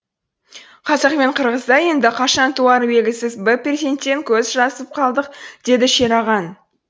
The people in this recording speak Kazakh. қазақ пен қырғызда енді қашан туары белгісіз бір перзенттен көз жазып қалдық деді шерағаң